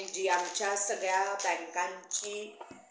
जी आमच्या सगळ्या बँकांची